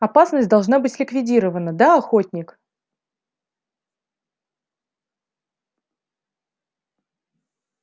опасность должна быть ликвидирована да охотник